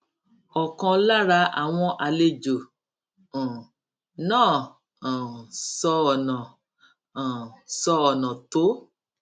ọkan lára àwọn àlejò um náà um sọ ọnà um sọ ọnà tó